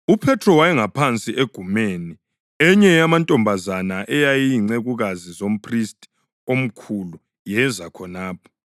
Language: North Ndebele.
UPhethro wayengaphansi egumeni, enye yamantombazana ayeyizincekukazi zomphristi omkhulu yeza khonapho.